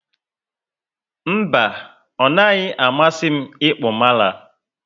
Mba, onaghi amasi m ịkpụ mala